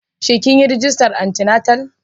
Shin kin yi rajista din anti-natal?